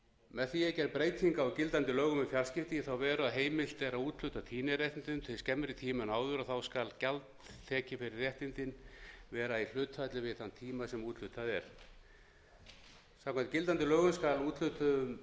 með því er gerð breyting á gildandi lögum um fjarskipti í þá veru að heimilt er að úthluta tíðniréttindum til skemmri tíma en áður og þá skal gjald tekið fyrir réttindin vera í hlutfalli við þann tíma sem úthlutað er samkvæmt gildandi lögum